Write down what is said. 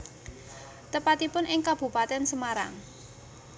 Tepatipun ing Kabupaten Semarang